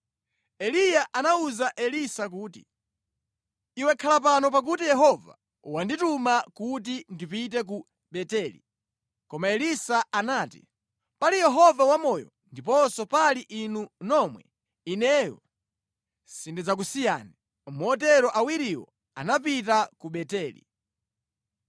Eliya anawuza Elisa kuti, “Iwe khala pano pakuti Yehova wandituma kuti ndipite ku Beteli.” Koma Elisa anati, “Pali Yehova wamoyo ndiponso pali inu nomwe, ineyo sindidzakusiyani.” Motero awiriwo anapita ku Beteli.